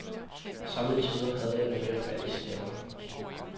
Somme tider havde jeg det med at falde i staver.